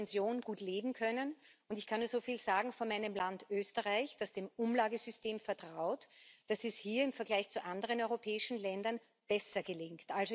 Man soll von der Pension gut leben können. Und ich kann nur so viel sagen von meinem Land Österreich, das dem Umlagesystem vertraut, dass es hier im Vergleich zu anderen europäischen Ländern besser gelingt.